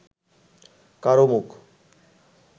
কারও মুখ